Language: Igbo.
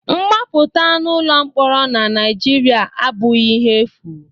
Mgbapụta n'ụlọ mkpọrọ na Naịjirịa abụghị ihe efu